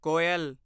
ਕੋਇਲ